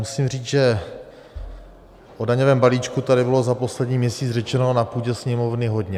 Musím říct, že o daňovém balíčku tady bylo za poslední měsíc řečeno na půdě Sněmovny hodně.